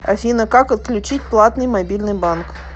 афина как отключить платный мобильный банк